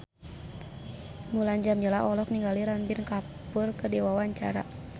Mulan Jameela olohok ningali Ranbir Kapoor keur diwawancara